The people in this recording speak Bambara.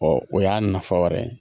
o y'a nafa wɛrɛ ye